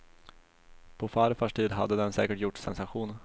På farfars tid hade den säkert gjort sensation.